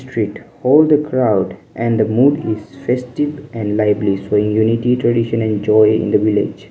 fit all the crowd and the mood is festive and lively showing unity tradition and joy in the village.